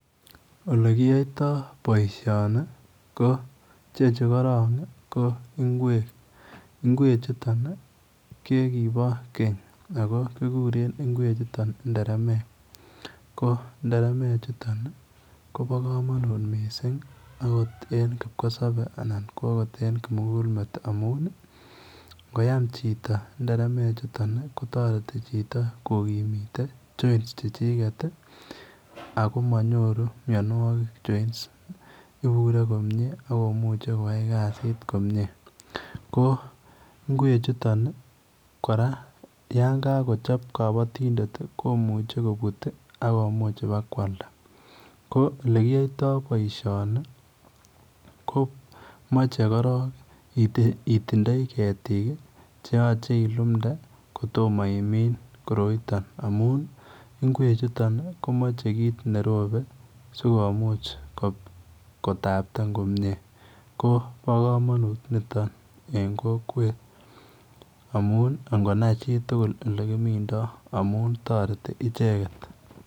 Ole kiyaitaa boisioni ko ichechuu korong ii ko ngweek ngweek chutoon ko kiboo keeeny ako kiguren ngweek chutoon nderemek, nderemek chutoon ii kobaa kamanut missing en kipkosabe anan ko akot en kimugul meet amuun ii ngoyaam chitoo kokimite joins chichiget ii ako manyooru mianwagik joins ibure komyei ii akomuchei koyai kazit komyei ko ngweek chutoon kora yaan kakochaap temindet komuchei kobiit ii akomuuch ibaak koalda ko ole kiyaitaa boisioni ko machei korong itindoi ketiik ii che yachei ilumnde kotomah imin koroitaan amuun Ngweek chutoon komachei kiit nerobe sikomuuch kotaptren komyei ko bo kamanut nitoon komyei en kokwet amuun ingonai chii tugul ole kimindaa amuun taretii ichegeet.